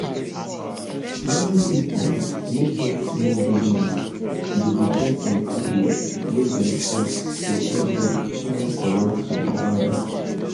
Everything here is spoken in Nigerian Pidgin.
many pipu wey get small business dey depend on pipu wey dem trust to help them find correct suppliers.